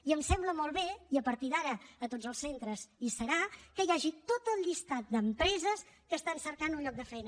i em sembla molt bé i a partir d’ara a tots els centres hi serà que hi hagi tot el llistat d’empreses que estan cercant un lloc de feina